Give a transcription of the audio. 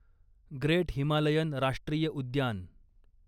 great Himalayan राष्ट्रीय उद्यान